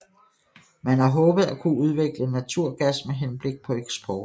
Man har håbet at kunne udvikle naturgas med henblik på eksport